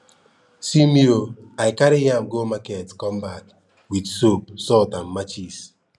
see me ooh i carry yam go market come back with soap salt and matches